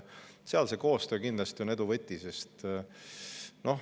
Seal on koostöö kindlasti edu võti.